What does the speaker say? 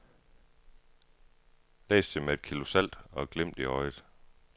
Læs det med et kilo salt og et glimt i øjet.